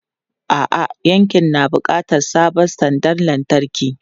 A'a, yankin na buƙatar sabon sandar lantarki.